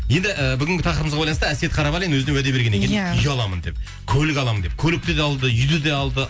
енді ііі бүгінгі тақырыбымызға байланысты әсет қарабалин өзіне уәде берген екен иә үй аламын деп көлік аламын деп көлікті де алды үйді де алды